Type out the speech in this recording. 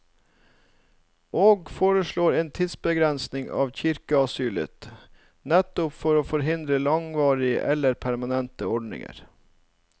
Og foreslår en tidsbegrensning av kirkeasylet, nettopp for å forhindre langvarige eller permanente ordninger.